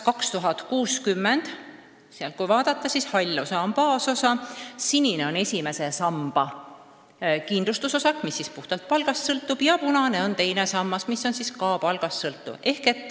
Kui seda vaadata, siis hall osa on baasosa, sinine on esimese samba kindlustusosa, mis puhtalt palgast sõltub, ja punane on teine sammas, mis on ka palgast sõltuv.